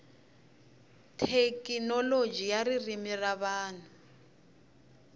thekinoloji ya ririmi ra vanhu